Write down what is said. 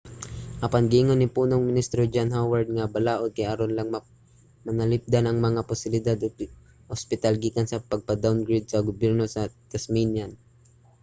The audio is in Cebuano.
apan giingon ni punong ministro john howard nga ang balaod kay aron lang mapanalipdan ang mga pasilidad sa ospital gikan sa pagpa-downgrade sa gobyerno sa tasmanian sa paghatag og dugang aud$45 milyon